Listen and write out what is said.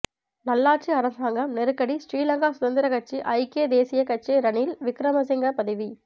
நல்லாட்சி அரசாங்கம் நெருக்கடி ஸ்ரீலங்கா சுதந்திரக் கட்சி ஐக்கிய தேசியக் கட்சி ரணில் விக்கிரமசிங்க பதவி